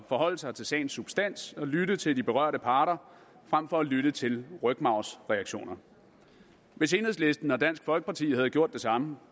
forholde sig til sagens substans og lytte til de berørte parter frem for at lytte til rygmarvsreaktioner hvis enhedslisten og dansk folkeparti havde gjort det samme